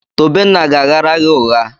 Tobenna ga-aghara gị ụgha.